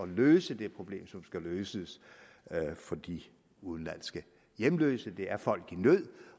løse det problem som skal løses for de udenlandske hjemløse det er folk i nød